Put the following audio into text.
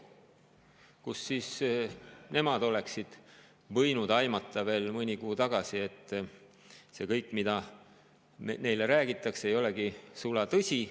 Kust nemad võisid mõni kuu tagasi aimata, et kõik see, mida neile räägitakse, ei olegi sulatõsi?